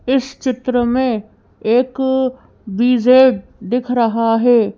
इस चित्र में एक दिख रहा है।